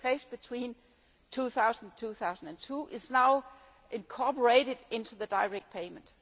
between 2000 and 2002, is now incorporated into the direct payment.